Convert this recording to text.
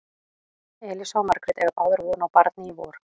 Elísa og Margrét eiga báðar von á barni í vor.